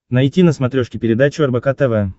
найти на смотрешке передачу рбк тв